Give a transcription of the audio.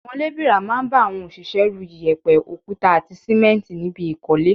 Àwọn lébìrà máa ń bá àwọn òṣìṣẹ́ ru, iyẹ̀pẹ̀, òkúta àti sìmẹ́ǹtì níbi ìkọ́lé